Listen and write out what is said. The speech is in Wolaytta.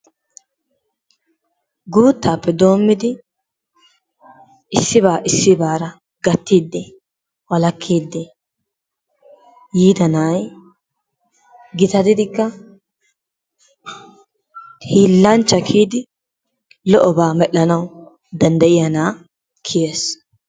Guttaappe dommidi issibba issibbara gatiddi walakiddi yidaa na'ayi gittatidikkaa hillanchchaa kiyiddi lo'obba merhanawu dandayiyas na'a kiyessi.